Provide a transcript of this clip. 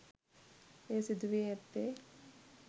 එය සිදු වී ඇත්තේ